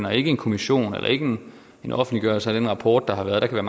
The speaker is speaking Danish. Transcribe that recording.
og ikke en kommission og ikke en offentliggørelse af den rapport der har været der kan